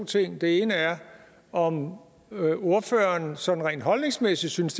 ting det ene er om ordføreren sådan rent holdningsmæssigt synes